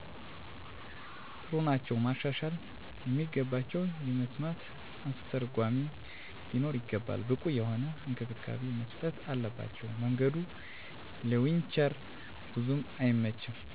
ጥሩ ናቸዉ። ማሻሻል የሚገባቸዉ የመስማት አስተርጎሚ ሊኖር ይገባል። ብቁ የሆነ እንክብካቤ መስጠት አለባቸዉ። መንገዱ ለዊንቸር ቡዙም አይመችም።